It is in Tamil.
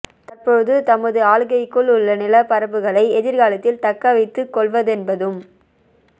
தற்போது தமது ஆளுகைக்குள் உள்ள நிலப் பரப்புகளை எதிர் காலத்தில் தக்கவைத்து கொள்வதென்பதும்